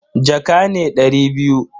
Jaka ne dari biyu.